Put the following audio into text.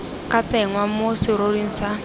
ka tsenngwa mo seroring sa